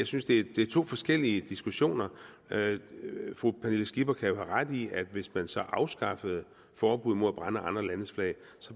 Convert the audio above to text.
synes det er to forskellige diskussioner fru pernille skipper kan jo have ret i at hvis man så afskaffer forbuddet mod at brænde andre landes flag